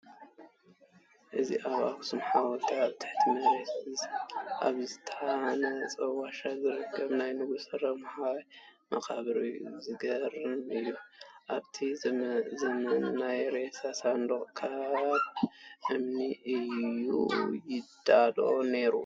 እዚ ኣብ ኣኽሱም ሓወልቲ ኣብ ትሕቲ መሬት ኣብ ዝተሃነፀ ዋሻ ዝርከብ ናይ ንጉስ ረምሃይ መቃብር እዩ፡፡ ዝገርም እዬ፡፡ ኣብቲ ዘመን ናይ ሬሳ ሳንዱቕ ካብ እምኒ እዩ ይዳሎ ነይሩ፡፡